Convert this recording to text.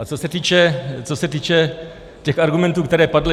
A co se týče těch argumentů, které padly.